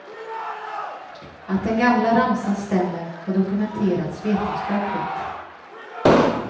Att den gamla ramsan stämmer har dokumenterats vetenskapligt.